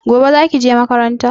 Gobe zaki je makaranta?